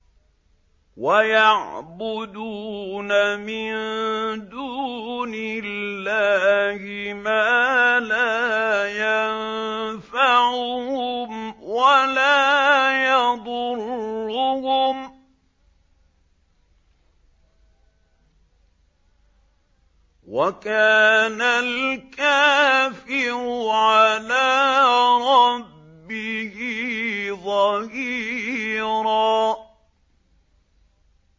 وَيَعْبُدُونَ مِن دُونِ اللَّهِ مَا لَا يَنفَعُهُمْ وَلَا يَضُرُّهُمْ ۗ وَكَانَ الْكَافِرُ عَلَىٰ رَبِّهِ ظَهِيرًا